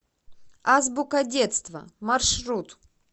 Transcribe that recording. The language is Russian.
азбука детства маршрут